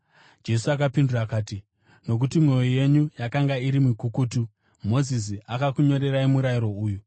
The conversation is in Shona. Jesu akapindura akati, “Nokuti mwoyo yenyu yakanga iri mikukutu, Mozisi akakunyorerai murayiro uyu.